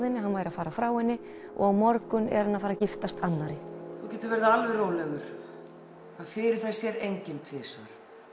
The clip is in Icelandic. henni að hann væri að fara frá henni og á morgun er hann að fara að giftast annarri þú getur verið alveg rólegur það fyrirfer sér enginn tvisvar